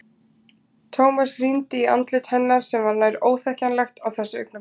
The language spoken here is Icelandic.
Thomas rýndi í andlit hennar sem var nær óþekkjanlegt á þessu augnabliki.